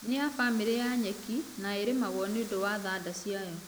Nĩ ya bamĩrĩ ya nyeki na ĩrĩmĩgwo nĩũndũ wa thanda ciayo..